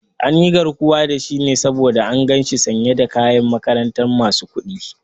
An yi garkuwa da shi ne saboda an gan shi sanye da kayan makarantar masu kuɗi